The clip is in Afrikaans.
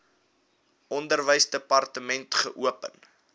onderwysdepartement wkod geopen